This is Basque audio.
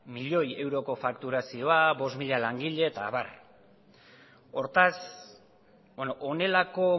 milioi euroko fakturazioa bost mila langile eta abar hortaz honelako